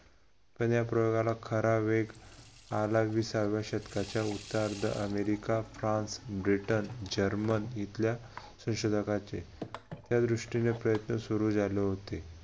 पण या प्रयोगाला खरा वेग आला एक विसाव्या शतकाच्या अमेरिका, फ्रान्स, ब्रिटन, जर्मन इथल्या संशोधकाचे त्या दृष्टीने प्रयत्न सुरु झालेले होते.